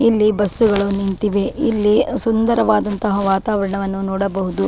ಇಲ್ಲಿ ಬಸ್ ಗಳು ನಿಂತಿವೆ ಇಲ್ಲಿ ಸುಂದರವಾದಂತಹ ವಾತಾವರಣವನ್ನು ನೋಡಬಹುದು. .